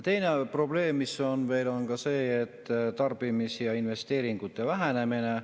Teine probleem, mis on, on tarbimise ja investeeringute vähenemine.